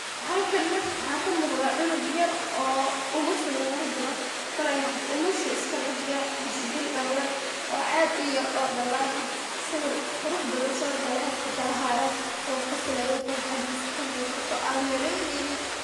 Halkan nah wxa kamuqda cunug yar oo umusha lagulajiro kol ay noqota umushi iskader yar mise bil dala oo ad u yar oo dalan ah sawi qurux badan so gale afka lahayo o qosleyo farxadisa kamuqato ad maleyneynin.